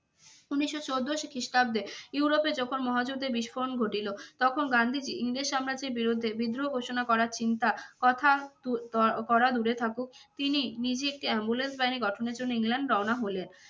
উনিশশো চোদ্দ খ্রিস্টাব্দে ইউরোপে যখন মহাযুদ্ধের বিস্ফোরণ ঘটিল তখন গান্ধীজীর ইংরেজ সাম্রাজ্যের বিরুদ্ধে বিদ্রোহ ঘোষণা করার চিন্তা কথা তু~ করা দূরে থাকুক, তিনি নিজে একটি ambulance বাহিনী গঠনের জন্য ইংল্যান্ড রওনা হলেন।